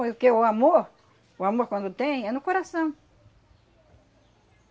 o que o amor, o amor quando tem, é no coração.